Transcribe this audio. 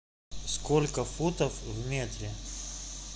сколько футов в метре